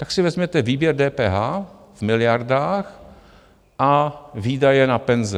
Tak si vezměte výběr DPH v miliardách a výdaje na penze.